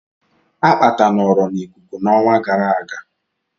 Akpata nọọrọ n'ikuku n'ọnwa gara aga